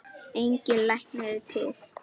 Engin lækning er til.